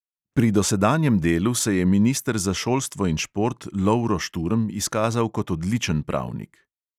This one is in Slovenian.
Pri dosedanjem delu se je minister za šolstvo in šport lovro šturm izkazal kot odličen pravnik.